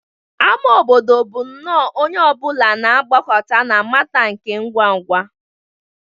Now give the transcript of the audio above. Ama obodo bụ nnọọ onye ọ bụla na-agbakọta na Matter nke ngwa ngwa